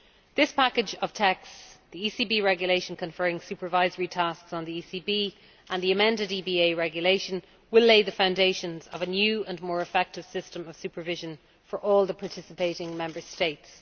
This package of texts, the ECB regulation conferring supervisory tasks on the ECB, and the amended EBA regulation will lay the foundations of a new and more effective system of supervision for all the participating Member States.